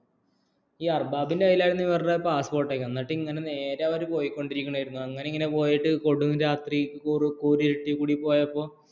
ഈ അർബാബ് കൈല്‍ ലാണ് ഇവരുടെ പാസ്പോര്‍ട്ട് ഓക്കേ എങ്ങനെ നേരെ പോയിക്കൊണ്ടിരിക്കുന്നു അങ്ങനെ കൊടും രാത്രി കൂടി പോയിക്കൊണ്ടിരിക്കുമ്പോൾ